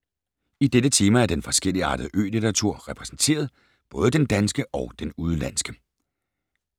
I dette tema er den forskelligartede ø-litteratur repræsenteret, både den danske og den udenlandske.